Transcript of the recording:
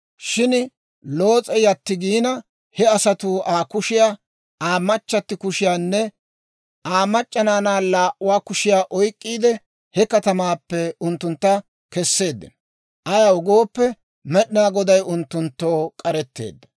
Shin Loos'e yatti giina, he asatuu Aa kushiyaa, Aa machchatti kushiyaanne Aa mac'c'a naanaa laa"uwaa kushiyaa oyk'k'iide, he katamaappe unttuntta kesseeddino; ayaw gooppe, Med'inaa Goday unttunttoo k'aretteedda.